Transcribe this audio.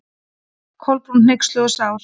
Kolbrún, hneyksluð og sár.